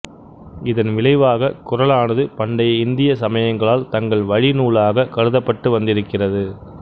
இதன் விளைவாகக் குறளானது பண்டைய இந்திய சமயங்களால் தங்கள் வழிநூலாகக் கருதப்பட்டு வந்திருக்கிறது